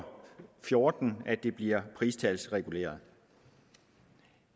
fjorten at det bliver pristalsreguleret